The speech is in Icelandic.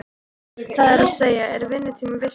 Það er að segja, er vinnutími virtur?